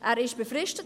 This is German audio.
Er ist befristet.